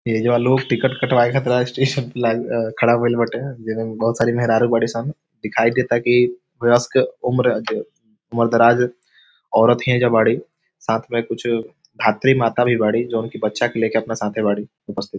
एजा लोग टिकट कटबावे खड़ा भइल बाटे बहुत सारी मेहरारू बाड़ी सन दिखाई देता की वयस्क उम्र उम्र दराज औरत ही एजा बाड़ी साथ मे कुछ भात्रि माता भी बाड़ी जोन की बच्चा के ले के साथे बाड़ी उपस्थित।